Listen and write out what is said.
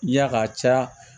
Ya ka caya